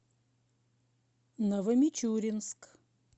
новомичуринск